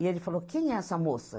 E ele falou, quem é essa moça?